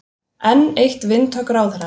Enn eitt vindhögg ráðherrans